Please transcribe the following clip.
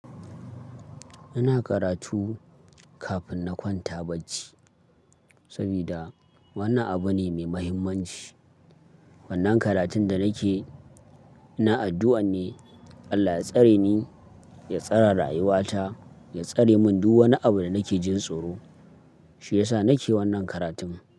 Ina karatu kafin na kwanta bacci, saboda wannan abu ne mai muhimmanci. Wannan karatun da nake, ina addu'an ne Allah ya tsare ni, ya tsare rayuwata, ya tsare mun duk wani abu da nake jin tsoro. Shi yasa nake wannan karatun.